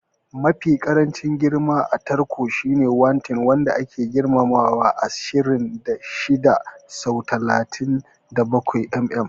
Mafi ƙarancin girman a takarda shine A10, wanda ke da girman ashirin da shida sau talatin da bakwai mm.